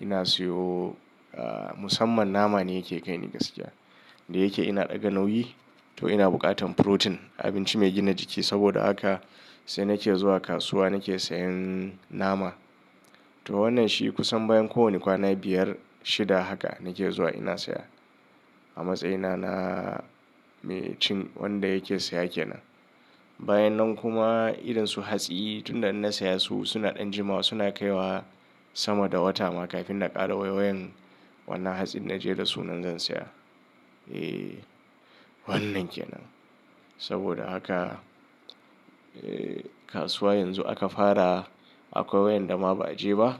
ina siyo, ah, musamman nama ne yake kai ni gaskiya. Da yake ina ɗaga nauyi, to ina buƙatan protein; abinci mai gina jiki, saboda haka sai nake zuwa kasuwa nake sayan nama. To wannan shi kusan bayan kowani kwana biyar, shida haka, nake zuwa ina siya, a matsayina na mai cin, wanda yake saya kenan. Bayan nan kuma, irin su hatsi, tun da in na saya su suna ɗan jimawa suna kai wa sama da wata ma kafin na ƙara waiwayan wannan hatsin na je da sunan zan sayar. Eh, wannan kenan, saboda haka, eh kasuwa yanzu aka fara, akwai waƴanda ma ba'a je ba,